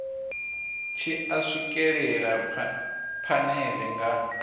tshi a swikelela phanele nga